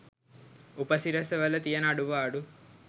උපසිරැස වල තියන අඩුපාඩු